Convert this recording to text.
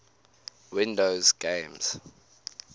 windows games